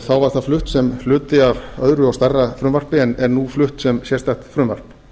þá var það flutt sem hluti af öðru og stærra frumvarpi en er nú flutt sem sérstakt frumvarp